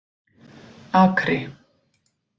Akri